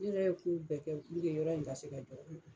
U yɛrɛ ye ko bɛɛ kɛ puruke yɔrɔ in ka se ka jɔ